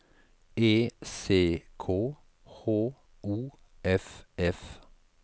E C K H O F F